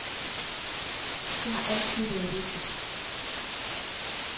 Det har altid været vigtigt.